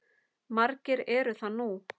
Margir eru það nú.